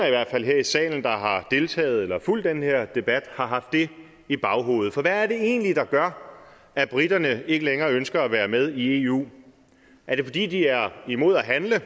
i hvert fald her i salen der har deltaget i eller fulgt den her debat har haft det i baghovedet for hvad er det egentlig der gør at briterne ikke længere ønsker at være med i eu er det fordi de er imod at handle